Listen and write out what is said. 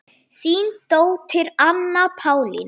Þín dóttir Anna Pálína.